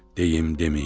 Deyim, deməyim?